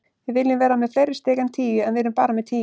Við viljum vera með fleiri stig en tíu, en við erum bara með tíu.